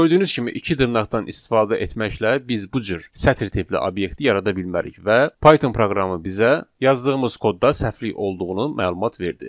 Gördüyünüz kimi iki dırnaqdan istifadə etməklə biz bu cür sətir tipli obyekti yarada bilmərik və Python proqramı bizə yazdığımız kodda səhvlik olduğunu məlumat verdi.